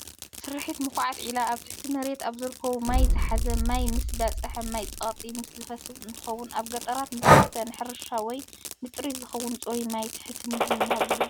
ስርሒት ምኹዓት ዒላ ኣብ ትሕቲ መሬት ኣብ ዝርከብ ማይ ዝሓዘ ማይ ምስ በፅሐ ማይ ብፀቕጢ ምስ ዝፈስስ እንትከውን፣ ኣብ ገጠራት ንዝስተ፡ ንሕርሻ ወይ ንጥሪት ዝኸውን ጽሩይ ማይ ትሕቲ ምድሪ ንምሃብ ዝግበር እዩ።